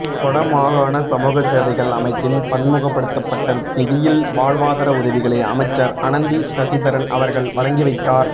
வடமாகாண சமூகசேவைகள் அமைச்சின் பன்முகபடுத்தப்பட்ட நிதியில் வாழ்வாதார உதவிகளை அமைச்சர் அனந்தி சசிதரன் அவர்கள் வழங்கிவைத்தார்